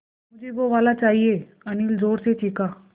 मझे वो वाला चाहिए अनिल ज़ोर से चीख़ा